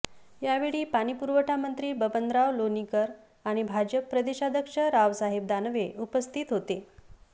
यावेळी पाणीपुरवठामंत्री बबनराव लोणीकर आणि भाजप प्रदेशाध्यक्ष रावसाहेब दानवे उपस्थित होते